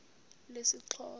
lesixhosa